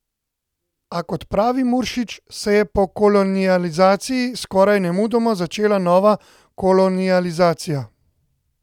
A, kot pravi Muršič, se je po kolonializaciji skoraj nemudoma začela nova kolonializacija.